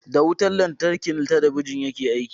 Da wutan lantarki talabijin yake aiki.